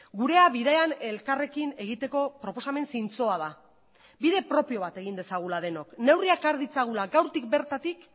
gurea bidean elkarrekin egiteko proposamen zintzoa da bide propio bat egin dezagula denok neurriak har ditzagula gaurtik bertatik